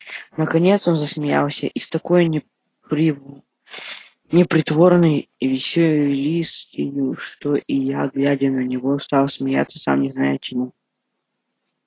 наконец он засмеялся и с такою непритворной веселостию что и я глядя на него стал смеяться сам не зная чему